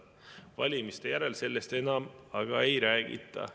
Valimiste järel sellest enam ei räägita.